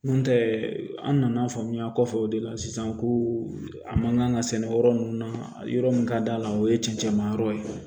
N'o tɛ an nana faamuya kɔfɛ o de la sisan ko a man kan ka sɛnɛ yɔrɔ min na yɔrɔ min ka d'a la o ye cɛncɛn ma yɔrɔ ye